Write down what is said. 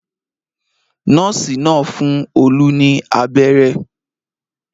Nọ́ọ́sì náà fún Olú ní abẹ́rẹ́.